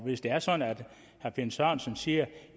hvis det er sådan at herre finn sørensen siger